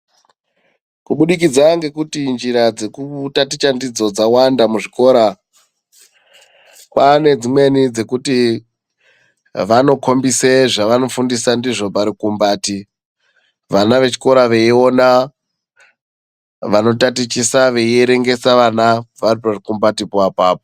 Kubudikidza ngekuti njira dzekutaticha ndidzo dzawanda muzvikora kwaane dzimweni dzekuti vanokombise zvaanofundisa ndizvo parukumbati vana vechikora veiona vanotatichisa veierwngesa vana vari parikumbati po apapo.